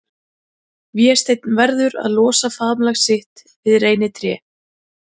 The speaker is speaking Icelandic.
Vésteinn verður að losa faðmlag sitt við reynitré.